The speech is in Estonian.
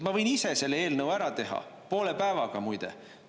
Ma võin ise selle eelnõu ära teha, poole päevaga, muide.